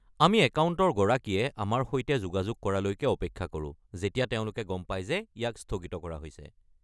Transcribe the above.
আমি একাউণ্টৰ গৰাকীয়ে আমাৰ সৈতে যোগাযোগ কৰালৈকে অপেক্ষা কৰোঁ যেতিয়া তেওঁলোকে গম পায় যে ইয়াক স্থগিত কৰা হৈছে।